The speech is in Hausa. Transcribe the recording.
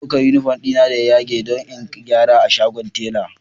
Ina ɗaukar uniform dina da ya yage don in gyara a shagon tela